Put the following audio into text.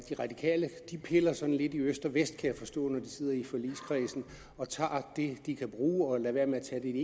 de radikale piller sådan lidt i øst og vest kan jeg forstå når de sidder i forligskredsen og tager det de kan bruge og lader være med at tage det